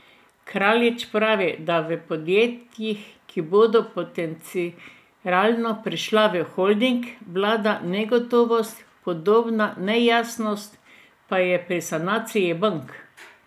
Kraljič pravi, da v podjetjih, ki bodo potencialno prišla v holding, vlada negotovost, podobna nejasnost pa je pri sanaciji bank.